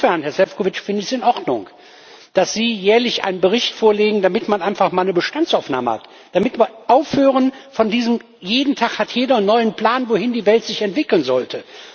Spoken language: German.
Insofern, Herr Šefčovič, finde ich es in Ordnung, dass Sie jährlich einen Bericht vorlegen, damit man einfach mal eine Bestandsaufnahme hat, damit wir aufhören damit, dass an jedem Tag jeder einen neuen Plan hat, wohin die Welt sich entwickeln sollte.